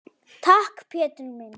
Takk, Pétur minn.